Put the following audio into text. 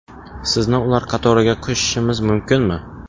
Sizni ular qatoriga qo‘shishimiz mumkinmi?